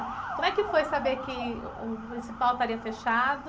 Como é que foi saber que uh, o Municipal estaria fechado?